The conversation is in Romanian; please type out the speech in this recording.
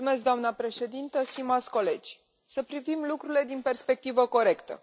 Doamnă președintă, stimați colegi, să privim lucrurile din perspectivă corectă.